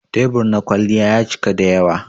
Tebur na kwalliya ya cika dayawa.